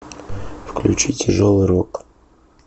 включи тяжелый рок